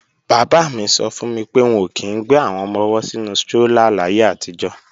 Bàbá mi sọ fún mi pé wọn ò kí í ń gbé àwọn ọmọ-ọwọ́ sínu strólà láyé àtijọ́